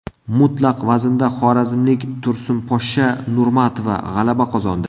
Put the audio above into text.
Mutlaq vaznda xorazmlik Tursunposhsha Nurmatova g‘alaba qozondi.